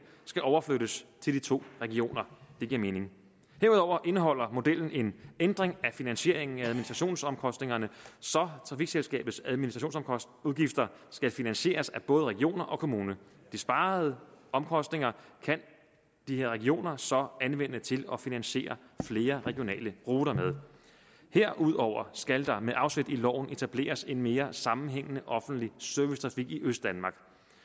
skal overflyttes til de to regioner det giver mening herudover indeholder modellen en ændring af finansieringen af administrationsomkostningerne så trafikselskabets administrationsudgifter skal finansieres af både regioner og kommuner de sparede omkostninger kan de her regioner så anvende til at finansiere flere regionale ruter med herudover skal der med afsæt i loven etableres en mere sammenhængende offentlig servicetrafik i østdanmark